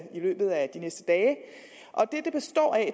i løbet af de næste dage